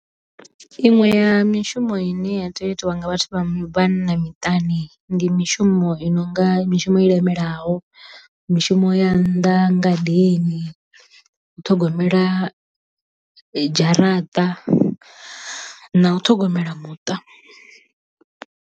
Iṅwe ya mishumo i ne ya tea u itiwa nga vhathu vha vhanna miṱani ndi mishumo i nonga mishumo i lemelaho mishumo ya nnḓa ngadeni u ṱhogomela dzharaṱa na u ṱhogomela muṱa.